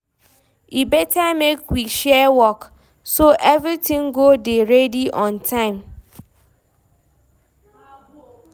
E better make we share work, so everything go dey ready on time.